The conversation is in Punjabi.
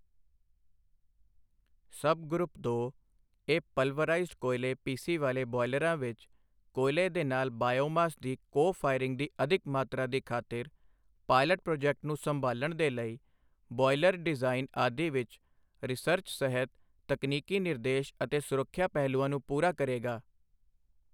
ਸਬ ਗਰੁੱਪ ਦੋ, ਇਹ ਪਲਵਰਾਈਜ਼ਡ ਕੋਇਲੇ ਪੀਸੀ ਵਾਲੇ ਬੌਇਲਰਾਂ ਵਿੱਚ, ਕੋਇਲੇ ਦੇ ਨਾਲ ਬਾਯੋਮਾਸ ਦੀ ਕੋ ਫਾਇਰਿੰਗ ਦੀ ਅਧਿਕ ਮਾਤਰਾ ਦੀ ਖਾਤਰ, ਪਾਇਲਟ ਪ੍ਰੋਜੈਕਟ ਨੂੰ ਸੰਭਾਲਣ ਦੇ ਲਈ, ਬੌਏਲਰ ਡਿਜ਼ਾਈਨ ਆਦਿ ਵਿੱਚ ਰਿਸਰਚ ਸਹਿਤ ਤਕਨੀਕੀ ਨਿਰਦੇਸ਼ ਅਤੇ ਸੁਰੱਖਿਆ ਪਹਿਲੂਆਂ ਨੂੰ ਪੂਰਾ ਕਰੇਗਾ।